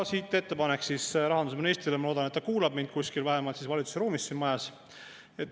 Siit ettepanek rahandusministrile – ma loodan, et ta kuulab mind kuskil vähemalt valitsuse ruumis siin majas.